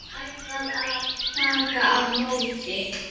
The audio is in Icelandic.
Ætlar að taka á móti.